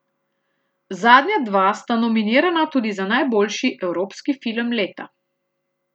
Zadnja dva sta nominirana tudi za najboljši evropski film leta.